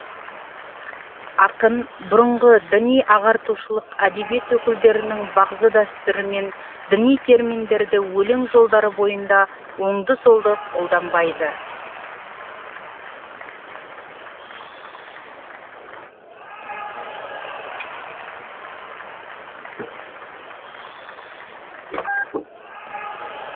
ақын бұрынғы діни ағартушылық әдебиет өкілдерінің бағзы дәстүрімен діни терминдерді өлең жолдары бойында оңды солды қолданбайды